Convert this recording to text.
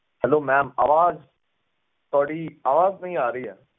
helloma'am ਅਵਾਜ ਤੁਹਾਡੀ ਅਵਾਜ ਨਹੀਂ ਆ ਰਹੀ ਏ